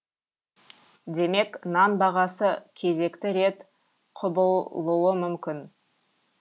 демек нан бағасы кезекті рет құбылуы мүмкін